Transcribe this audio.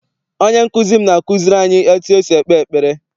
Onye nkụzi m na-akụziri anyị etu esi ekpe ekpere.